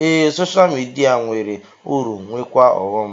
Ee, soshal midia nwere uru nweekwa ọghọm